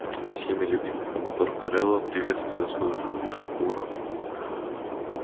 всеми любимый командор корела приветствуя свою жену лишь хмуро